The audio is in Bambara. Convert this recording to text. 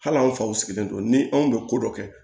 Hali anw faw sigilen don ni anw bɛ ko dɔ kɛ